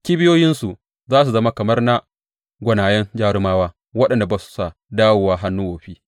Kibiyoyinsu za su zama kamar na gwanayen jarumawa waɗanda ba sa dawowa hannu wofi.